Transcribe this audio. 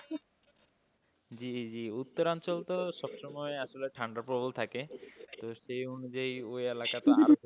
জি জি উত্তরাঞ্চল তো সবসময় আসলে ঠান্ডা প্রবল থাকে, তো সেই অনুযায়ী ওই এলাকাতে,